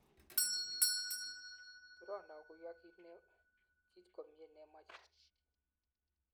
turon aguiyo kiit komye nemochei